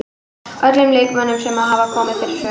Öllum leikmönnunum sem hafa komið við sögu.